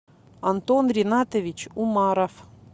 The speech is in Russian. антон ринатович умаров